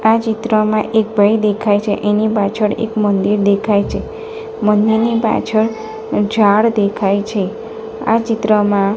આ ચિત્રમાં એક ભાઈ દેખાય છે એની પાછળ એક મંદિર દેખાય છે મંદિરની પાછળ ઝાડ દેખાય છે આ ચિત્રમાં --